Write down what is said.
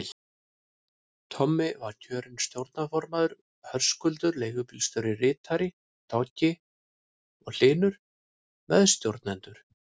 Tommi var kjörinn stjórnarformaður, Höskuldur leigubílstjóri ritari, Toggi og Hlynur meðstjórnendur.